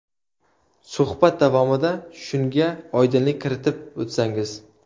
Suhbat davomida shunga oydinlik kiritib o‘tsangiz?